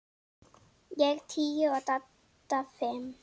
Ég tíu og Dadda fimm.